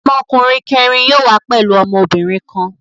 Ọmọkùnrin kẹ̀rin yóò wá pẹ̀lú ọmọbìnrin kan.